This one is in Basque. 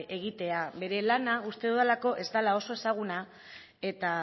egitea bere lana uste dudalako ez dela oso ezaguna eta